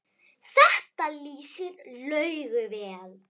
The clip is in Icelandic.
Þetta lýsir Laugu vel.